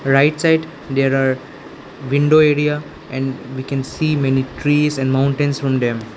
Right side there are window area and we can see many trees and mountains from them.